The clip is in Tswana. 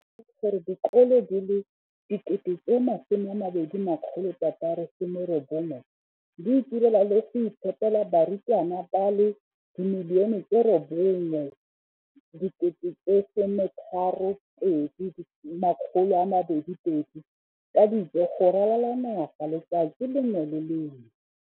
O tlhalositse gore dikolo di le 20 619 di itirela le go iphepela barutwana ba le 9 032 622 ka dijo go ralala naga letsatsi le lengwe le le lengwe.